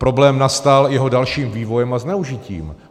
Problém nastal jeho dalším vývojem a zneužitím.